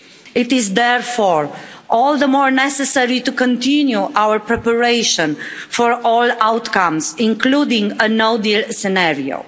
It is therefore all the more necessary to continue our preparation for all outcomes, including a no deal scenario.